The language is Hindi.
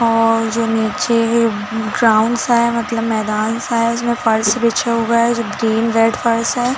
और जो नीचे ग्राउंड सा है मतलब मैदान सा है इसमें फर्श बिछा हुआ है जो ग्रीन रेड फर्श है।